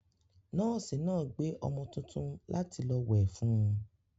Nọ́ọ́sì náà gbé ọmọ tuntun láti lọ wẹ̀ fún un.